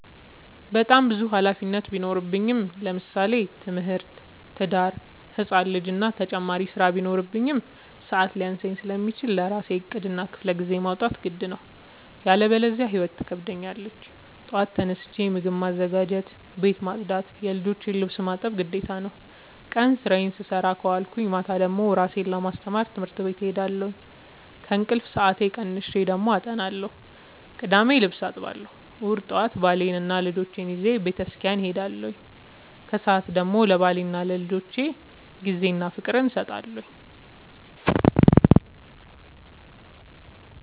በጣም ብዙ ሀላፊነት ቢኖርብኝ ለምሳሌ፦ ትምህርት፣ ትዳር፣ ህፃን ልጂ እና ተጨማሪ ስራ ቢኖርብኝ። ሰዐት ሊያንሰኝ ስለሚችል ለራሴ ዕቅድ እና ክፍለጊዜ ማውጣት ግድ ነው። ያለበዚያ ህይወት ትከብደኛለች ጠዋት ተነስቼ ምግብ ማዘጋጀት፣ ቤት መፅዳት የልጆቼን ልብስ ማጠብ ግዴታ ነው። ቀን ስራዬን ስሰራ ከዋልኩኝ ማታ ደግሞ እራሴን ለማስተማር ትምህርት ቤት እሄዳለሁ። ከእንቅልፌ ሰአት ቀንሼ ደግሞ አጠናለሁ ቅዳሜ ልብስ አጥባለሁ እሁድ ጠዋት ባሌንና ልጆቼን ይዤ በተስኪያን እሄዳለሁ። ከሰዓት ደግሞ ለባሌና ለልጆቼ ጊዜ እና ፍቅር እሰጣለሁ።